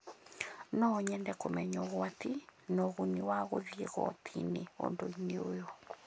No nyende kũmenya ũgwati na ũguni wa gũthiĩ igooti-inĩ ũndũ-inĩ ũyũ